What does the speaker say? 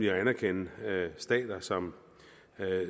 anerkende stater som